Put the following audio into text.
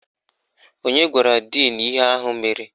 Onye gwara díìnu ihe ahụ mere?